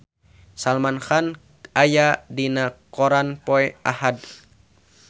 Salman Khan aya dina koran poe Ahad